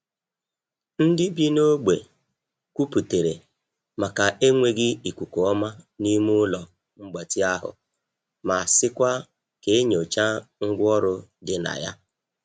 Ndị bi n’ogbe kwuputere maka enweghị ikuku ọma n'ime ụlọ mgbatị ahụ ma sịkwa ka e nyochaa ngwa ọrụ di na ya.